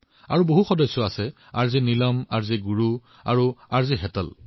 তেওঁৰ আন সংগীও আছে যেনে R J Neelam R J Guru আৰু আৰ জে হেতল